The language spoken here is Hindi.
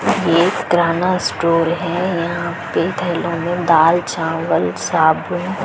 ये पुराना स्टोर है यहाँ पे थैलो दाल चावल साबुन--